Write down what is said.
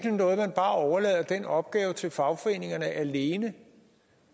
noget at man bare overlader den opgave til fagforeningerne alene